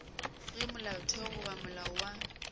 ge molaotheo goba molao wa